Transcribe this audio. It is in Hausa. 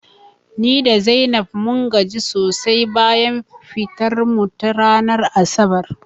Ni da Zainab mun gaji sosai bayan fitar mu ta ranar asabar